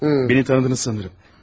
Məni tanıdınız sanıram.